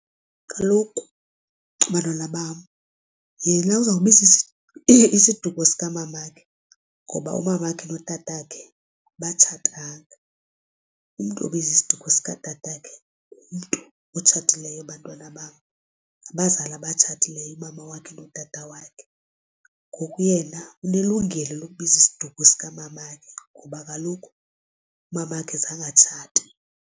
Kaloku bantwana bam yena uzawubiza isiduko sikamamakhe ngoba umamakhe notatakhe abatshatanga. Umntu obiza isiduko sikatata wakhe ngumntu otshatileyo bantwana bam. Ngabazali abatshatileyo umama wakhe notata wakhe ngoku yena unelungelo lokuzibiza isiduko sikamamakhe ngoba kaloku umamakhe zange atshate.